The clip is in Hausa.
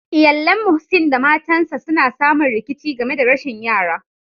Iyallen Muhseen da matan sa suna samu rikici game da rashin yara.